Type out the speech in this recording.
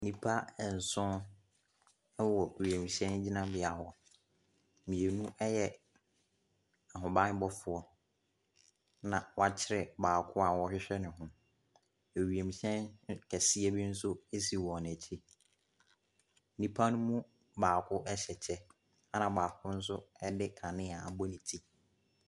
Nnipa ɛnson ɛwɔ wiemhyɛn gyinabea. Mmienu ɛyɛ ahobanbɔfoɔ na wakyere baako a wɔɔhwehwɛ ne ho. Ɛwiehyɛn kɛseɛ bi nso si wɔn akyi. Nnipa ne mu baako ɛhyɛ kyɛ ɛna baako nso ɛde kanea abɔ ne ti.